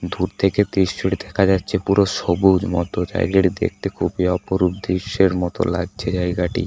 দূর থেকে দৃশ্যটি দেখা যাচ্ছে পুরো সবুজ মতো জায়গাটি দেখতে খুবই অপরূপ দৃশ্যর মতো লাগছে জায়গাটি ।